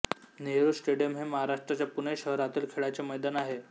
Nehru stadium हे महाराष्ट्राच्या पुणे शहरातील खेळाचे मैदान आहे